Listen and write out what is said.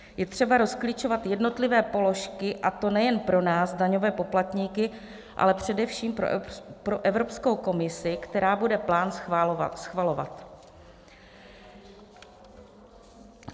Je třeba rozklíčovat jednotlivé položky, a to nejen pro nás daňové poplatníky, ale především pro Evropskou komisi, která bude plán schvalovat.